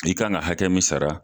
I kan ka hakɛ min sara.